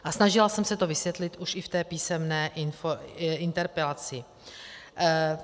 A snažila jsem se to vysvětlit už i v té písemné interpelaci.